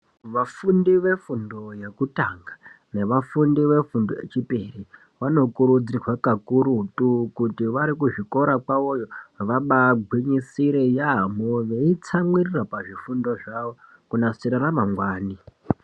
Vafundi vefundo yekutanga nevafundi vefundo yechipiri vanokurudzirwa kakurutu kuti vari kuzvikora kwavoyo, vabaagwinyisire yaampho veitsamwiririra pazvifundo zvawo, kunasira ramangwani.